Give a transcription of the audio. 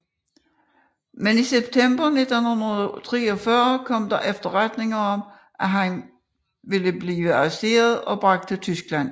Men i september 1943 kom der efterretninger om at han ville blive arresteret og bragt til Tyskland